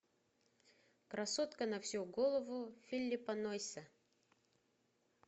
красотка на всю голову филиппа нойса